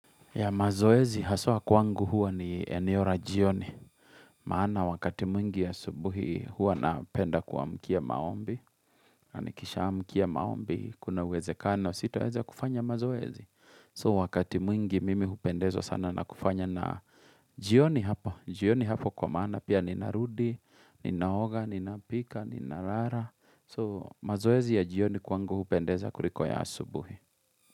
Ya mazoezi haswa kwangu huwa ni eneo ra jioni. Maana wakati mwingi ya asubuhi huwa napenda kuamkia maombi. Nanikisha amkia maombi kuna uwezekano sitaweza kufanya mazoezi. So wakati mwingi mimi hupendezwa sana na kufanya na jioni hapo. Jioni hapo kwa maana pia ninarudi, ninaoga, ninapika, ninarara. So mazoezi ya jioni kwangu hupendeza kuliko ya asubuhi.